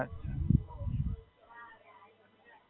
હાં.